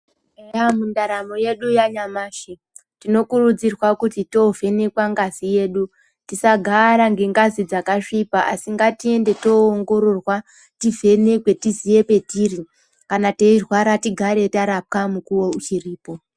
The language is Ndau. Eya mundaramo yedu yanyamashi tinokurudzirwa kuti tovhenekwa ngazi yedu. Tisagara ngengazi dzakasvipa asi ngatiende toongororwa tivhenekwe tisiye petiri kana teirwara tigare tarapwa mukuvo uchiripo.